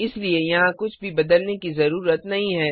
इसलिए यहाँ कुछ भी बदलने की जरूरत नहीं है